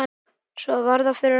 Svo var það fyrir átta.